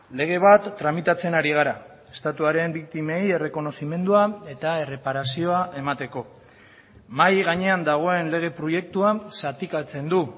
lege bat tramitatzen ari gara estatuaren biktimei errekonozimendua eta erreparazioa emateko mahai gainean dagoen lege proiektuan zatikatzen du